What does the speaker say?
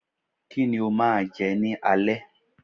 Kíni o máa je ni alé?